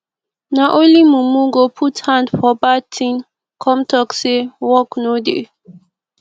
na only mumu go put hand for bad thing come talk say work no dey